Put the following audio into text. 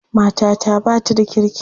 Matata ba ta da kirki.